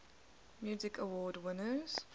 music awards winners